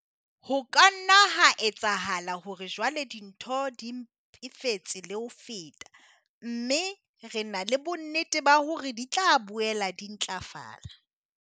Ho ka nna ha etsahala hore jwale dintho di mpefetse le ho feta, empa re na le bonnete ba hore di tla boela di ntlafala.